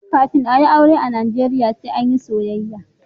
Kafin a yi aure a najeriya sai an yi soyayya.